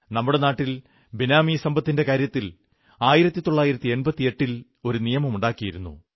നമ്മുടെ നാട്ടിൽ ബേനാമീ സമ്പത്തിന്റെ കാര്യത്തിൽ 1988 ൽ നിയമം ഉണ്ടാക്കിയിരുന്നു